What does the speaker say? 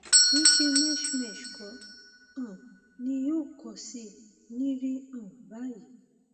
kìí ṣe mesh mesh kò um ní yọ kò sì ní rí um báyìí